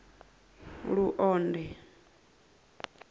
luonde